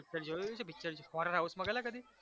picture જોયેલુ એકેય picture horror house માં ગયેલા કદી?